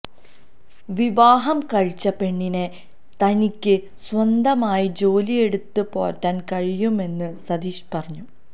വിവാഹം കഴിച്ച പെണ്ണിനെ തനിക്ക് സ്വന്തമായി ജോലി എടുത്തു പോറ്റാൻ കഴിയുമെന്ന് സതീഷ് പറഞ്ഞു